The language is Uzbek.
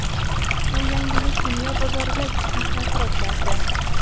Bu yangilik dunyo bozoriga jiddiy ta’sir o‘tkazdi.